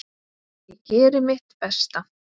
Ég geri mitt besta.